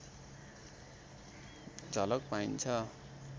झलक पाइन्छ